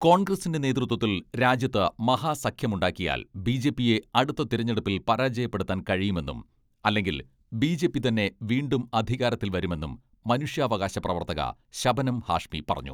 കോൺഗ്രസിന്റെ നേതൃത്വത്തിൽ രാജ്യത്ത് മഹാസഖ്യമുണ്ടാക്കിയാൽ ബിജെപിയെ അടുത്ത തിരഞ്ഞെടുപ്പിൽ പരാജയപ്പെടുത്താൻ കഴിയുമെന്നും അല്ലെങ്കിൽ ബിജെപി തന്നെ വീണ്ടും അധികാരത്തിൽ വരുമെന്നും മനുഷ്യാവകാശ പ്രവർത്തക ശബനം ഹാഷ്മി പറഞ്ഞു.